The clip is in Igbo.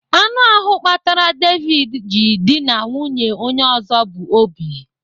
Anụ ahụ kpatara David ji dịna nwunye onye ọzọ bụ Obi.